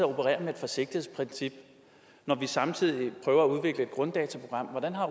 operere med et forsigtighedsprincip når vi samtidig prøver at udvikle et grunddataprogram hvordan har